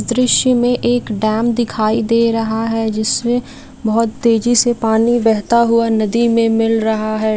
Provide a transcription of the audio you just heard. इस दृश्य में एक डैम दिखाई दे रहा है जिसमें बहुत तेजी से पानी बेहता हुआ नदी में मिल रहा है।